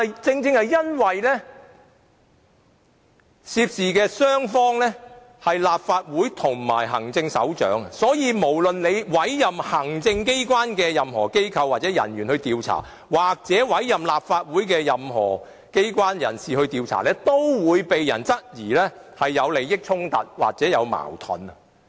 正正由於涉事雙方是立法會和行政長官，所以無論委任行政機關內任何機構或人員進行調查，或是委任立法會內任何機構或人士進行調查，均會被人質疑存在利益衝突或矛盾。